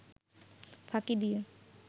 ফাঁকি দিয়ে